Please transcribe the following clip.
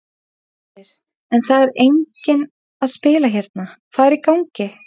Hersir: En það er enginn að spila hérna, hvað er í gangi?